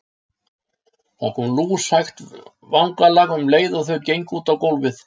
Það kom lúshægt vangalag um leið og þau gengu út á gólfið.